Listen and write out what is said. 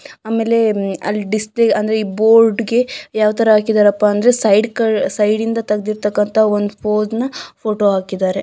ಅಲ್ಲಿ ಡಿಸ್ಪ್ಲೇ ಅಂದ್ರೆ ಈ ಬೋರ್ಡ್ಗೆ ಯಾವಥರ ಹಾಕಿದ್ದರಪ ಅಂದ್ರೆ ಸೈಡ್ ಕಟ್ ಅಂದ್ರೆ ಸೈಡ್ ಇಂತ್ರ ತೆಗದಿರ ತಕ್ಕಂತಹ ಒಂದ್ ಪೋಸ್ ನ ಫೋಟೋ ಹಾಕಿದಾರೆ.